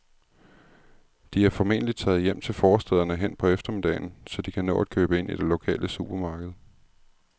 De er formentlig taget hjem til forstæderne hen på eftermiddagen, så de kan nå at købe ind i det lokale supermarked.